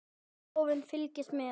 Þjóðin fylgist með.